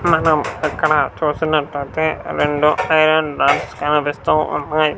మనం పక్కన చూస్తున్నట్లయితే రెండు క్రేయన్ బాక్స్ కనిపిస్తూ ఉన్నాయి.